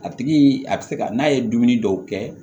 A tigi a bɛ se ka n'a ye dumuni dɔw kɛ